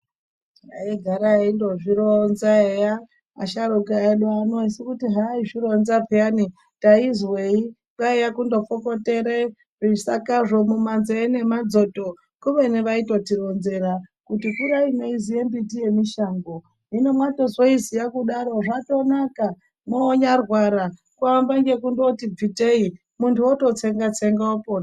Aigara eindozvironza eya asharuka edu ano esi kuti haaizvironza pheyani taizwei . Kwaiye kungotsokotera zvisakazvo mumanzee nemadzoto, kubeni vaitotironzera kuti kurai meiziya mbiti yemushango. Hino mwazotoiziya kudaro zvatonaka ,moonyarwara kuamba ngekungoti bvitei muntu ototsenga-tsenga opona.